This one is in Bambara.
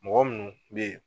Mɔgɔ munnu bɛ yen.